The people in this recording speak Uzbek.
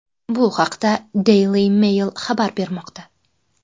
Bu haqda Daily Mail xabar bermoqda.